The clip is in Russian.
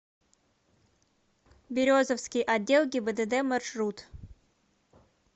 березовский отдел гибдд маршрут